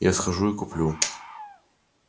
я схожу и куплю